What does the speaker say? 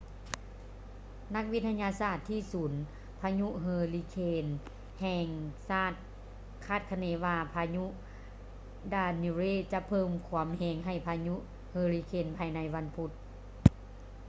ນັກວິທະຍາສາດທີ່ສູນພະຍຸເຮີລິເຄນແຫ່ງຊາດຄາດຄະເນວ່າພາຍຸ danielle ຈະເພີ່ມຄວາມແຮງໃຫ້ພາຍຸເຮີຣິເຄນພາຍໃນວັນພຸດ